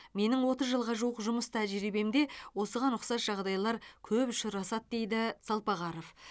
менің отыз жылға жуық жұмыс тәжірибемде осыған ұқсас жағдайлар көп ұшырасады дейді салпағаров